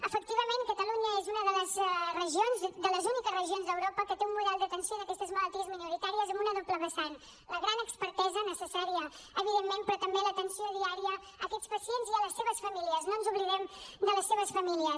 efectivament catalunya és una de les úniques regions d’europa que té un model d’atenció d’aquestes malalties minoritàries amb una doble vessant la gran expertesa necessària evidentment però també l’atenció diària a aquests pacients i a les seves famílies no ens oblidem de les seves famílies